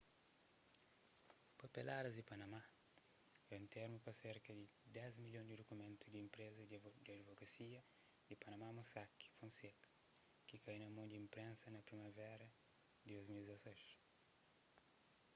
papeladas di panama é un termu pa serka di dés milhon di dukumentu di enpreza di adivokasia di panama mossack fonseca ki kai na mon di inprensa na primavera di 2016